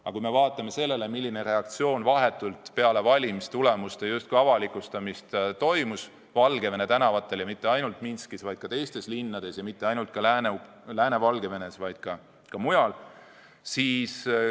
Aga vaatame, milline reaktsioon oli vahetult peale valimistulemuste avalikustamist Valgevene tänavatel, ja mitte ainult Minskis, vaid ka teistes linnades, ja mitte ainult Lääne-Valgevenes, vaid ka mujal.